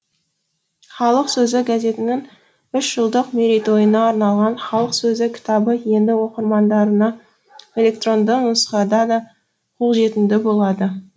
халық сөзі газетінің үш жылдық мерейтойына арналған халық сөзі кітабы енді оқырмандарына электронды нұсқада да қолжетімді болады